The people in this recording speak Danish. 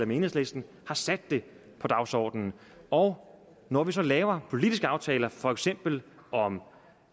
med enhedslisten har sat det på dagsordenen og når vi så laver politiske aftaler for eksempel om